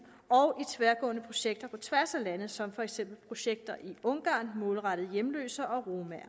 og tværgående projekter på tværs af lande som for eksempel projekter i ungarn målrettet hjemløse og romaer